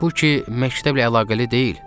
Bu ki məktəblə əlaqəli deyil.